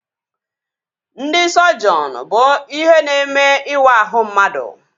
Ndị sọjiọn bụ ihe na-eme ịwa ahụ mmadụ